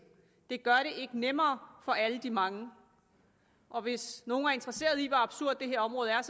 det gør det ikke nemmere for alle de mange og hvis nogen er interesseret i hvor absurd det her område er